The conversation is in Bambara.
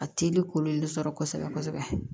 A teri kolo in de sɔrɔ kosɛbɛ kosɛbɛ